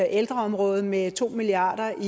ældreområdet med to milliard